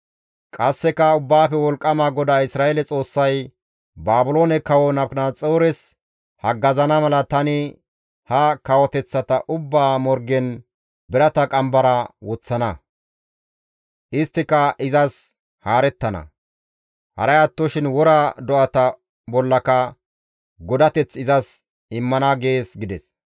Qasseka Ubbaafe Wolqqama GODAA Isra7eele Xoossay, ‹Baabiloone kawo Nabukadanaxoores haggazana mala tani ha kawoteththata ubbaa morgen birata qambara woththana; isttika izas haarettana. Haray attoshin wora do7ata bollaka godateth izas immana› gees» gides.